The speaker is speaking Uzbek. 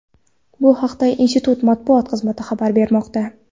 Bu haqda institut matbuot xizmati xabar bermoqda.